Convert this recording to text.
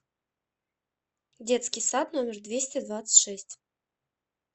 детский сад номер двести двадцать шесть